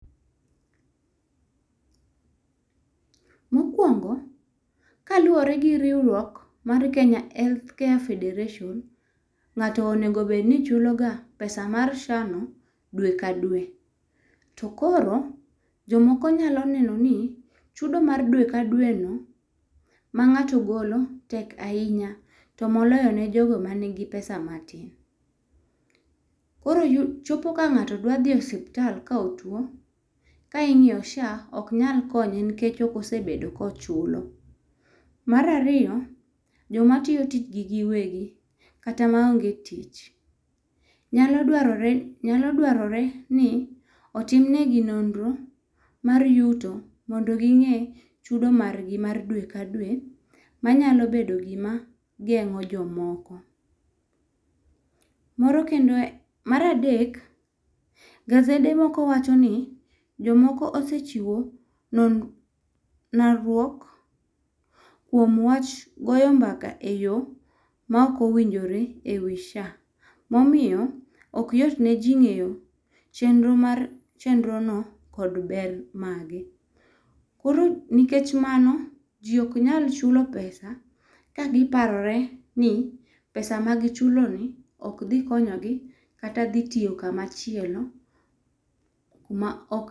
Mokwongo, kaluwore gi riwruok mar Kenya Healthcare Federation, ng'ato onego obed ni chuloga pesa mar SHA no dwe ka dwe. To koro ,jomoko nyalo neno ni, chudo mar dwe ka dweno, ma ng'ato golo, tek ahinya, to moloyo ne jogo manigi pesa matin. Koro chopo ka ng'ato dwadhi e osuptal ka otuwo, ka ing'iyo SHA ,ok nyal konye nikech ok osebedo kochulo. Mar ariyo, jomatiyo tijgi giwegi kata maonge tich nyalo dwarore ni otim negi nonro mar yuto mondo ging'e chudo margi mar dwe ka dwe manyalo bedo gima geng'o jomoko. Mar adek, gazede moko wacho ni, jomoko osechiwo lalruok kuom wach goyo mbaka e yo ma ok owinjore e wi SHA. Momiyo, ok yot ne ji ng'eyo chenro mar chenrono kod ber mage. Nikech mano, ji ok nyal chulo pesa kagiparore ni pesa magichuloni ok dhi konyogi kata dhi tiyo kamachielo kuma ok.